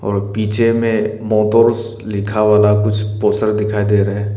और पीछे में मोटोर्स लिखा वाला कुछ पोस्टर दिखाई दे रहे है।